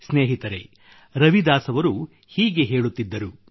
ಸ್ನೇಹಿತರೆ ರವಿದಾಸ್ ಅವರು ಹೀಗೆ ಹೇಳುತ್ತಿದ್ದರು